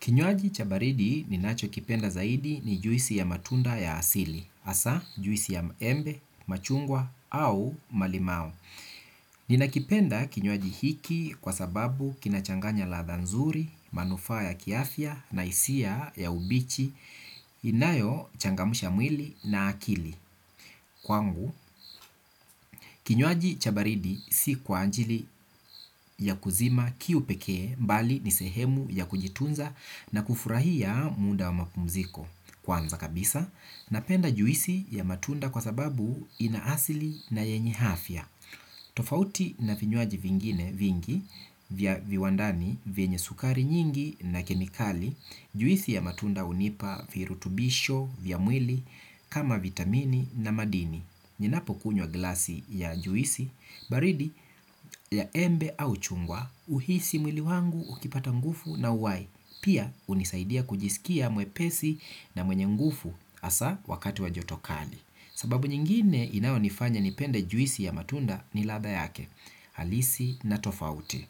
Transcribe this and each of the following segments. Kinywaji chabaridi ninacho kipenda zaidi ni juisi ya matunda ya asili, asa juisi ya embe, machungwa au malimao. Ninakipenda kinywaji hiki kwa sababu kinachanganya ladha nzuri, manufaa ya kiafya na isia ya ubichi, inayo changamusha mwili na akili. Kwangu, kinywaji cha baridi si kwa anjili ya kuzima kiupekee mbali nisehemu ya kujitunza na kufurahia muda wa mapumziko. Kwanza kabisa, napenda juisi ya matunda kwa sababu ina asili na yenye afya. Tofauti na vinyuaji vingine vingi vya viwandani vyenye sukari nyingi na kemikali, juisi ya matunda unipa virutubisho vya mwili kama vitamini na madini. Ninapo kunywa glasi ya juisi, baridi ya embe au chungwa, uhisi mwili wangu ukipata ngufu na uwai, pia unisaidia kujisikia mwepesi na mwenye ngufu asa wakati wa joto kali. Sababu nyingine inayo nifanya nipende juisi ya matunda ni latha yake, halisi na tofauti.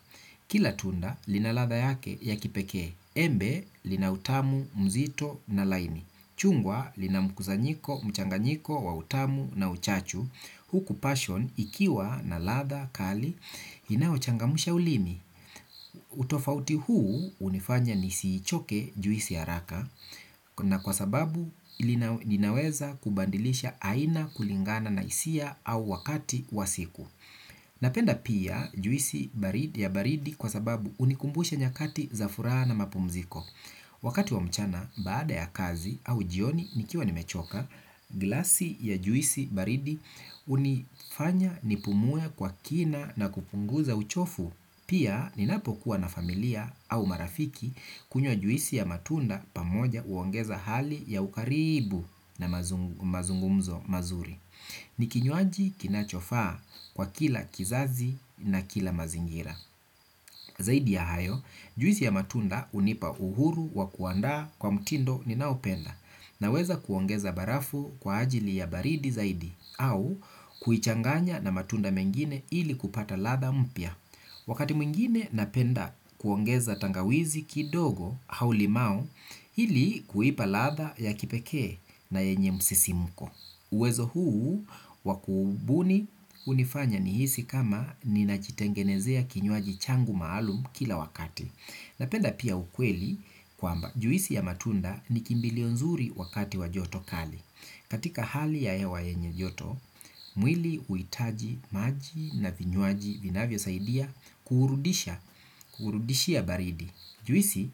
Kila tunda lina latha yake ya kipeke, embe lina utamu, mzito na laini, chungwa lina mkuzanyiko, mchanganyiko, wautamu na uchachu, huku passion ikiwa na latha, kali, inauchangamusha ulimi. Utofauti huu unifanya nisiichoke juisi haraka na kwa sababu ilinaweza kubandilisha aina kulingana na isia au wakati wa siku. Napenda pia juisi ya baridi kwa sababu unikumbusha nyakati za furaha na mapumziko. Wakati wa mchana baada ya kazi au jioni nikiwa nimechoka glasi ya juisi baridi unifanya nipumue kwa kina na kupunguza uchofu. Pia ninapo kuwa na familia au marafiki kunywa juisi ya matunda pamoja uongeza hali ya ukaribu na mazungumzo mazuri. Ni kinywaji kinachofaa kwa kila kizazi na kila mazingira. Zaidi ya hayo, juizi ya matunda unipa uhuru wa kuandaa kwa mtindo ni naopenda. Naweza kuongeza barafu kwa ajili ya baridi zaidi au kuichanganya na matunda mengine ili kupata latha mpya wakati mwingine napenda kuongeza tangawizi kidogo au limao ili kuipa latha ya kipekee na yenye msisimuko uwezo huu wa kubuni unifanya ni hisi kama ninajitengenezea kinywaji changu maalum kila wakati. Napenda pia ukweli kwamba juisi ya matunda ni kimbilio nzuri wakati wa joto kali. Katika hali ya hewa yenye joto, mwili uitaji maji na vinywaji vinavyo saidia kuurudisha baridi. Juisi,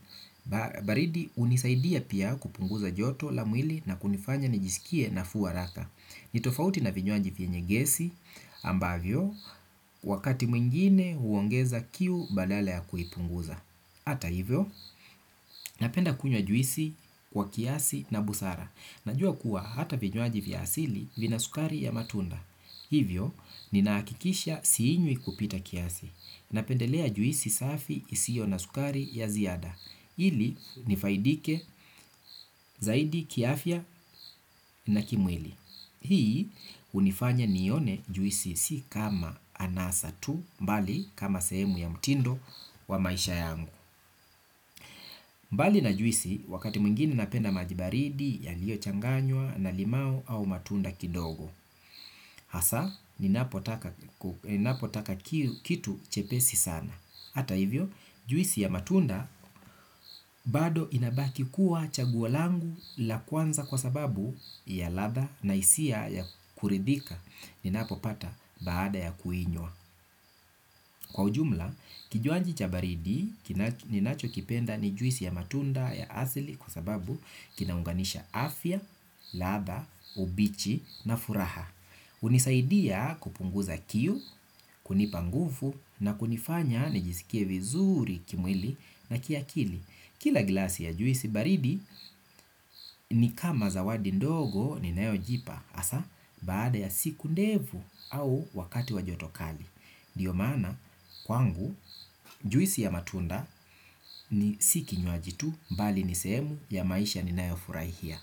baridi unisaidia pia kupunguza joto la mwili na kunifanya nijisikie nafuu haraka. Nitofauti na vinywaji vyenye gesi ambavyo, wakati mwingine huongeza kiu badala ya kuipunguza. Hata hivyo, napenda kunywa juisi kwa kiasi na busara. Najua kuwa hata vinywaji vya asili vina sukari ya matunda. Hivyo, ninaakikisha siinywi kupita kiasi. Napendelea juisi safi isio na sukari ya ziada. Ili nifaidike zaidi kiafya na kimwili. Hii unifanya nione juisi si kama anasa tu mbali kama sehemu ya mtindo wa maisha yangu. Mbali na juisi wakati mwingine napenda maji baridi yalio changanywa na limau au matunda kidogo. Hasa, ninapotaka kitu chepesi sana hata hivyo, juisi ya matunda bado inabaki kuwa chaguo langu la kwanza kwa sababu ya latha na isia ya kuridhika ninapo pata baada ya kuinywa kwa ujumla, kijuanji cha baridi, ninacho kipenda ni juisi ya matunda ya asili kwa sababu kinaunganisha afya, latha, ubichi na furaha. Unisaidia kupunguza kiu, kunipa nguvu na kunifanya nijisikie vizuri kimwili na kia kili. Kila glasi ya juisi baridi ni kama zawadi ndogo ni nayojipa. Asa baada ya siku ndefu au wakati wa joto kali ndio maana kwangu juisi ya matunda ni si kinywaji tu. Mbali nisehemu ya maisha ni nayo furahia.